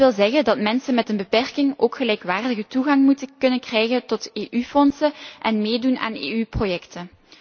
Dat wil zeggen dat mensen met een beperking ook gelijkwaardige toegang moeten kunnen krijgen tot EU fondsen en EU projecten.